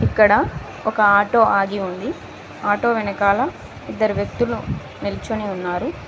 ఇక్కడ ఒక ఆటో ఆగి ఉంది ఆటో వెనకాల ఇద్దరు వ్యక్తులు నిల్చోని ఉన్నారు.